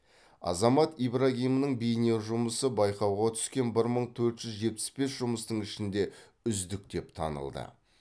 азамат ибрагимнің бейне жұмысы байқауға түскен бір мың төрт жүз жетпіс бес жұмыстың ішінде үздік деп танылды